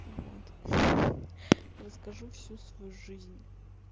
вот ха-ха-ха расскажу всю свою жизнь